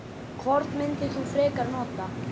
Hvort myndir þú frekar nota?